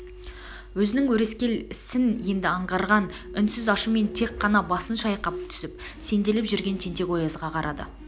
өзінің өрескел сін енді аңғарған үнсіз ашумен тек қана басын шайқай түсіп сенделіп жүрген тентек-оязға қарады